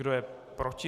Kdo je proti?